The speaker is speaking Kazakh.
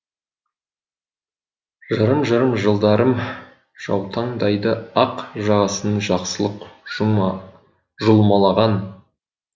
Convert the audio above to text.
жырым жырым жылдарым жаутаңдайды ақ жағасын жақсылық жұлмалаған